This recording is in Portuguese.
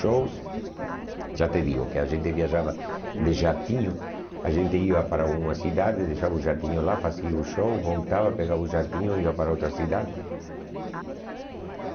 Shows, já te digo que a gente viajava de jatinho, a gente ia para uma cidade, deixava o jatinho lá, fazia o show, voltava, pegava o jatinho e ia para outra cidade.